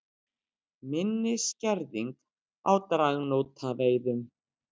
Minni skerðing á dragnótaveiðum